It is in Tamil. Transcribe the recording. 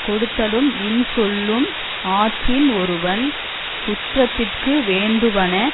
கொடுத்தலும் இன்சொலும் ஆற்றின் ஒருவன் சுற்றத்திற்கு வேண்டுவன